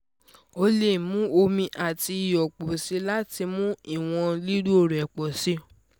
o le mu omi ati iyọ pọ si lati mu iwọn lilo rẹ pọ si